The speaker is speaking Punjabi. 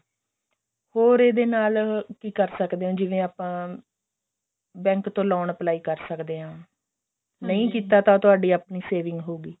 ਹੋਰ ਇਹਦੇ ਨਾਲ ਕਿ ਕਰ ਸਕਦੇ ਹਾਂ ਜਿਵੇਂ ਆਪਾਂ bank ਤੋਂ loan apply ਕਰ ਸਕਦੇ ਹਾਂ ਨਹੀਂ ਕੀਤਾ ਤਾਂ ਤੁਹਾਡੀ ਆਪਣੀ saving ਹੋ ਗਈ